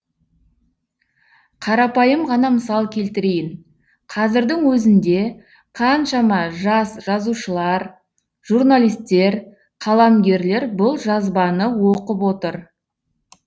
қарапайым ғана мысал келтірейін қазірдің өзінде қаншама жас жазушылар журналисттер қаламгерлер бұл жазбаны оқып отыр